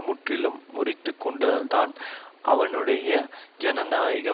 முற்றிலும் முறித்து கொண்டதல்தான் அவனுடைய ஜனநாயக